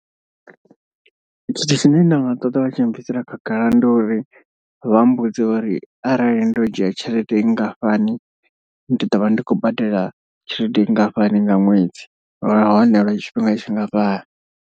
Tshithu tshine nda nga ṱoḓa vha tshi nbvisela khagala ndi uri vha mbudze uri arali ndo dzhia tshelede nngafhani. Ndi ḓo vha ndi khou badela tshelede nngafhani nga ṅwedzi nahone lwa tshifhinga tshingafhani.